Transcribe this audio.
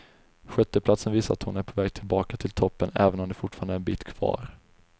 Sjätteplatsen visar att hon är på väg tillbaka till toppen även om det fortfarande är en bit kvar.